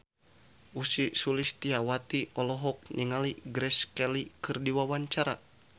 Ussy Sulistyawati olohok ningali Grace Kelly keur diwawancara